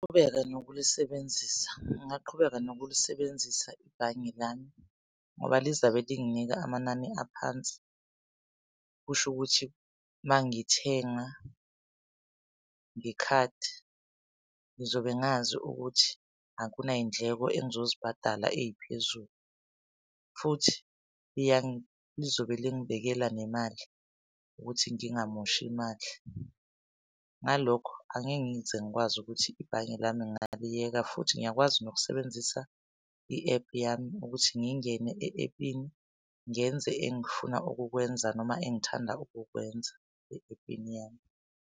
Ngignaqhubeka nokulisebenzisa ngingaqhubeka nokulisebenzisa ibhange lami ngoba lizabe linginika amanani aphansi. Kusho ukuthi mangithenga ngekhadi ngizobe ngazi ukuthi akunay'ndleko engizozibhadala eziphezulu. Futhi lizobe lingibekela nemali ukuthi ngingamoshi imali. Ngalokho, angeke ngize ngikwazi ukuthi ibhange lami ngingaliyeka futhi ngiyakwazi nokusebenzisa i-ephu yami ukuthi ngingene e-app-ini ngenze engifuna ukukwenza noma engithanda ukukwenza e-app-ini yami.